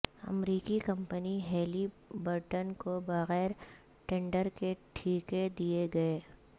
امریکی company Halliburton کو بغیر ٹینڈر کے ٹھیکے دئیے گئے